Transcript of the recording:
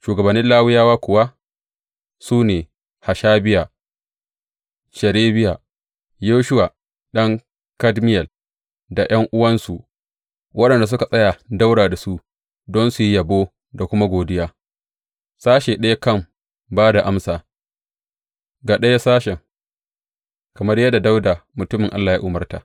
Shugabannin Lawiyawa kuwa su ne Hashabiya, Sherebiya, Yeshuwa ɗan Kadmiyel, da ’yan’uwansu, waɗanda suka tsaya ɗaura da su don su yi yabo da kuma godiya, sashe ɗaya kan ba da amsa ga ɗaya sashen, kamar yadda Dawuda mutumin Allah ya umarta.